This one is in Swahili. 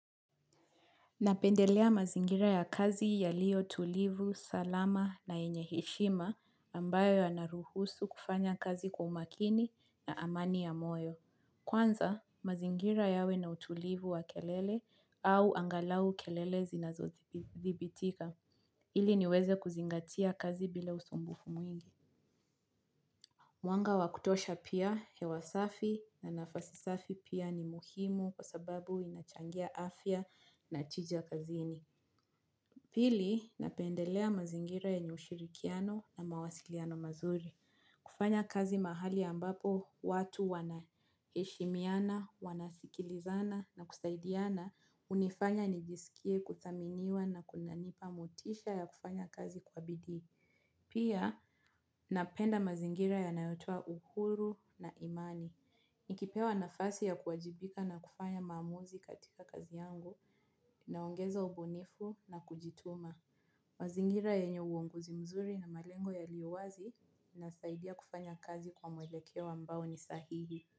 Napendelea mazingira ya kazi yaliyo tulivu, salama na yenye heshima ambayo yanaruhusu kufanya kazi kwa umakini na amani ya moyo. Kwanza, mazingira yawe na utulivu wa kelele au angalau kelele zinazodhibitika. Ili niweze kuzingatia kazi bila usumbufu mwingi. Mwanga wa kutosha pia hewa safi na nafasi safi pia ni muhimu kwa sababu inachangia afya na tija kazini. Pili, napendelea mazingira yenye ushirikiano na mawasiliano mazuri. Kufanya kazi mahali ambapo, watu wanaheshimiana, wanasikilizana na kusaidiana, hunifanya nijisikie kuthaminiwa na kunanipa motisha ya kufanya kazi kwa bidii. Pia, napenda mazingira yanayotoa uhuru na imani. Nikipewa nafasi ya kuwajibika na kufanya maamuzi katika kazi yangu, naongeza ubunifu na kujituma. Mazingira yenye uongozi mzuri na malengo yaliyo wazi, inasaidia kufanya kazi kwa mwelekeo ambao ni sahihi.